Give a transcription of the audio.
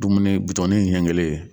Dumuni bitɔnin in ɲɛ kelen.